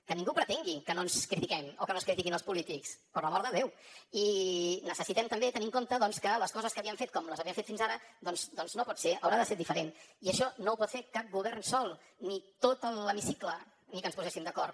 que ningú pretengui que no ens critiquem o que no es critiquin els polítics per l’amor de déu i necessitem també tenir en compte que les coses que havíem fet com les havíem fet fins ara doncs no pot ser haurà de ser diferenti això no ho pot fer cap govern sol ni tot l’hemicicle ni que ens poséssim d’acord